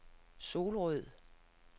Solrød